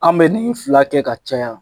A ni yi fila kɛ ka caya